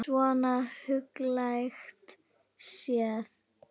Svona huglægt séð.